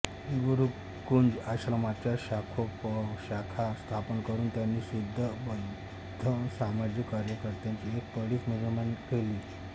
गुरुकुंज आश्रमाच्या शाखोपशाखा स्थापन करून त्यांनी शिस्तबद्ध सामाजिक कार्यकर्त्यांची एक फळीच निर्माण केली